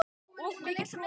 Of mikill hroki.